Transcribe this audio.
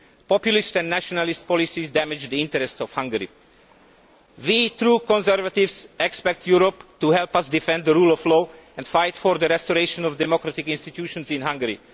Populist and nationalist policies damage the interests of Hungary. We true conservatives expect Europe to help us defend the rule of law and fight for the restoration of democratic institutions in Hungary.